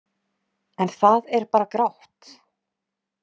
En það er bara grátt.